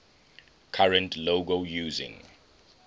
current logo using